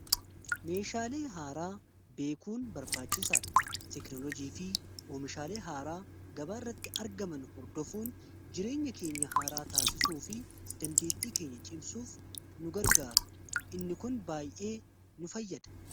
meeshaalee haaraa beekuun barbaachisaa dha. teknolojii fi oomishaalee haaraa gabaa irratti argaman hordoofuun jireenya keenya haaraa taasisuu fi dandeetii keenya cimsuuf nu gargaara inni kun baay'ee nu fayyada.